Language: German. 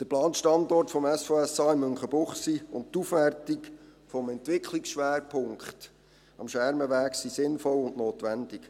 Der geplante Standort des SVSA in Münchenbuchsee und die Aufwertung des Entwicklungsschwerpunkts am Schermenweg sind sinnvoll und notwendig.